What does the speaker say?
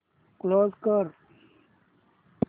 close कर